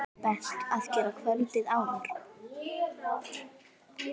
Best að gera kvöldið áður.